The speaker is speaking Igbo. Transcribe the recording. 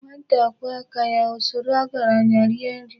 Nwata kwụọ aka ya, O soro ogaranya rie nri.